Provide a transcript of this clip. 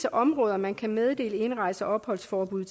områder man kan meddele indrejse og opholdsforbud